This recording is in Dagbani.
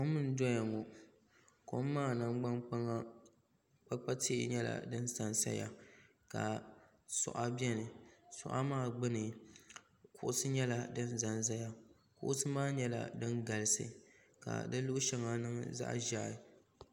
Kom n doya ŋɔ kom maa nangdani kpaŋa kpakpa tihi nyala dini sa n sayaka suɣa bɛni suɣa maa gnuni kuɣusi nyɛla dini sa n saya kuɣusi maa nyɛla dini galisi ka si luɣi shɛŋa niŋ zaɣi zɛhi.